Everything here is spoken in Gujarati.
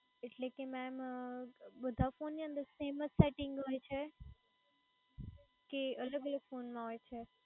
એટલે કે ma'm બધા phone ની અંદર same જ setting હોય છે કે અલગ અલગ phone મા હોય છે